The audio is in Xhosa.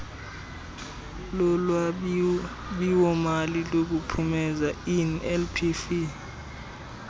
lolwabiwomali lokuphumeza inlpf